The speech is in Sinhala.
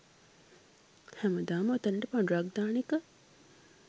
හැමදාම ඔතනට පඬුරක් දාන එක